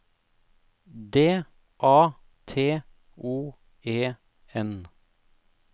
D A T O E N